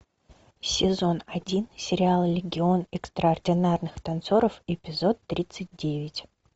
сезон один сериала легион экстраординарных танцоров эпизод тридцать девять